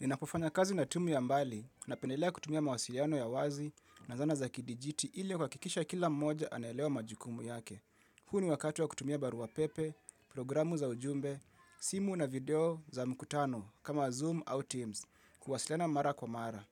Ninapofanya kazi na timu ya mbali napendelea kutumia mawasiliano ya wazi na zana za kidijiti ili kuhakikisha kila mmoja anaelewa majukumu yake. Huu ni wakati wa kutumia barua pepe, programu za ujumbe, simu na video za mkutano kama Zoom au Teams kuwasiliana mara kwa mara.